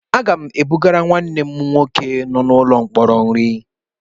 Aga m ebugara nwanne m nwoke nọ n'ụlọ mkpọrọ nri.